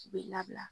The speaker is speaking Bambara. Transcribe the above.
U bɛ labila